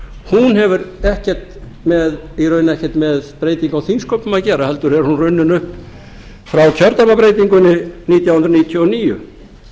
hún hefur raunar ekkert með breytingu á þingsköpum að gera heldur er hún runnin upp frá kjördæmabreytingunni nítján hundruð níutíu og níu